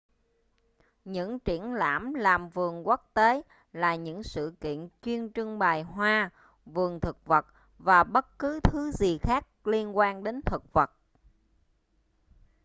những triển lãm làm vườn quốc tế là những sự kiện chuyên trưng bày hoa vườn thực vật và bất cứ thứ gì khác liên quan đến thực vật